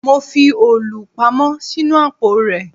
Mo fi òòlù pamọ́ sínú àpò rẹ